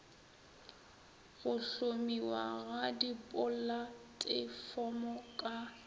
go hlomiwa ga dipolatefomo ka